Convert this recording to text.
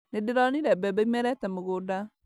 Nĩndĩronire mbembe imerete mũgũnda